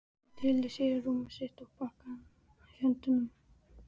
Hún tyllir sér á rúmið sitt með pakkann í höndunum.